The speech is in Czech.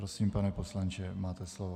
Prosím, pane poslanče, máte slovo.